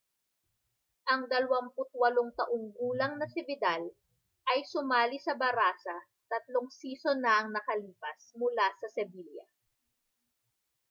ang 28 taong gulang na si vidal ay sumali sa barã§a tatlong season na ang nakalipas mula sa sevilla